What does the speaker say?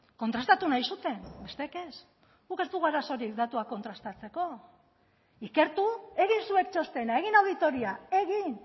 kontrastatu nahi zuten besteek ez guk ez dugu arazorik datuak kontrastatzeko ikertu egin zuek txostena egin auditoria egin